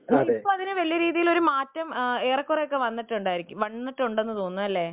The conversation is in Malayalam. ഇപ്പൊ അതിനൊരു മാറ്റം ഏറെക്കുറെയൊക്കെ വന്നിട്ടുണ്ട് എന്ന് തോന്നുന്നു അല്ലെ